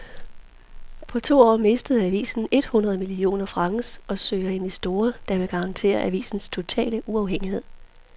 På to år mistede avisen et hundrede millioner franc og søger investorer, der vil garantere avisens totale uafhængighed.